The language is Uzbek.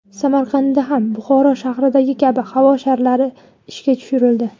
Samarqandda ham Buxoro shahridagi kabi havo sharlari ishga tushirildi.